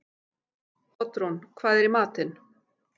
Oddrún, hvað er í matinn?